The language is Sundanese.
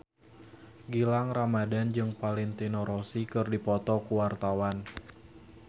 Gilang Ramadan jeung Valentino Rossi keur dipoto ku wartawan